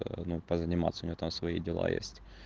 а ну позаниматься у него там свои дела есть